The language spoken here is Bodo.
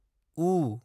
उ